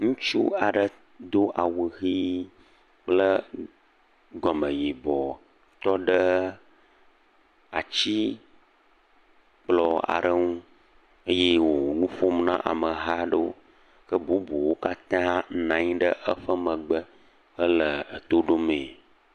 Ŋutsu aɖe do awu ʋe kple gɔmɔ yibɔ tɔ ɖe ati kplɔ aɖe ŋu eye wò nu ɔom na ameha aɖewo. Ke bubuwo katã nɔ anyi ɖe eƒe megbe hele eto ɖomee.